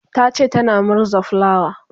tace tana murza fulawa